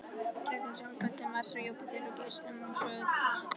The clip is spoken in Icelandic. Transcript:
gegnum smástirnabeltið milli Mars og Júpíters og geislamögnuð svæði við